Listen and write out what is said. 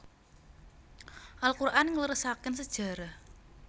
Al Quran ngleresaken sejarah